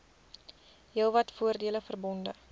heelwat voordele verbonde